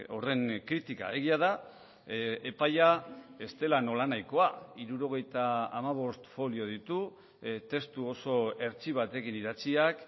horren kritika egia da epaia ez dela nolanahikoa hirurogeita hamabost folio ditu testu oso hertsi batekin idatziak